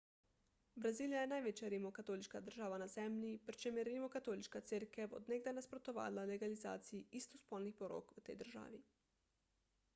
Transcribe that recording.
brazilija je največja rimokatoliška država na zemlji pri čemer je rimokatoliška cerkev od nekdaj nasprotovala legalizaciji istospolnih porok v tej državi